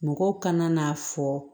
Mɔgɔw kana n'a fɔ